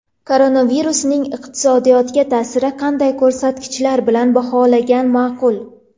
Koronavirusning iqtisodiyotga ta’sirini qanday ko‘rsatkichlar bilan baholagan ma’qul?.